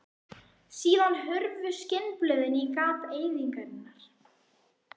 Síðan hurfu skinnblöðin í gap eyðingarinnar.